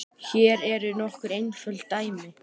Hér eru nokkur einföld dæmi